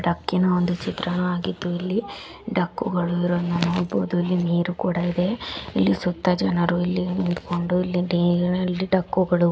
ದಕ್ಕಿನ ಒಂದು ಚಿತ್ರಣವಾಗಿದ್ದು ಇಲ್ಲಿ ಡಕ್ಕು ಗಳನ್ನ ಇಲ್ಲಿ ನೋಡಬಹುದು ಇಲ್ಲಿ ನೀರು ಕೂಡ ಇದೆ. ಇಲ್ಲಿ ಸುತ್ತ ಇಲ್ಲಿ ಜನರು ನಿಂತ್ಕೊಂಡು ಇಲ್ಲಿದ್ದಕ್ಕೂ ಗಳು ಓಡಾಡ್ಕೊಂಡು--